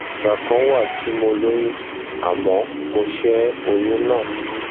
ìgbà kan wà tí mo lóyún àmọ mo ṣẹ oyún náà